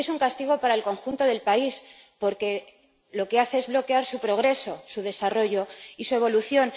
Y es un castigo para el conjunto del país, porque lo que hace es bloquear su progreso, su desarrollo y su evolución.